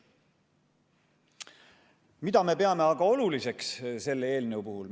Mida me peame aga oluliseks selle eelnõu puhul?